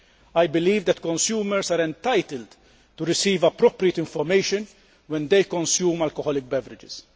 I believe that consumers are entitled to receive appropriate information when they consume alcoholic beverages.